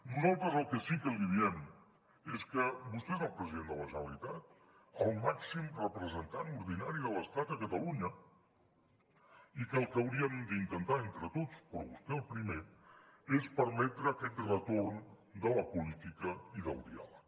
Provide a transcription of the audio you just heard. nosaltres el que sí que li diem és que vostè és el president de la generalitat el màxim representant ordinari de l’estat a catalunya i que el que hauríem d’intentar entre tots però vostè el primer és permetre aquest retorn de la política i del diàleg